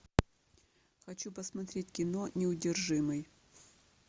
хочу посмотреть кино неудержимый